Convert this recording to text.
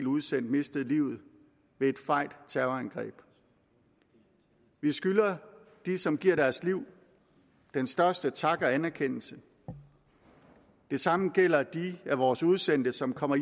udsendt mistede livet ved et fejt terrorangreb vi skylder de som giver deres liv den største tak og anerkendelse det samme gælder de af vores udsendte som kommer